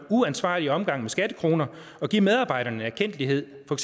uansvarlig omgang med skattekroner at give medarbejderne en erkendtlighed for